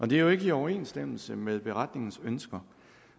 det er jo ikke i overensstemmelse med beretningens ønsker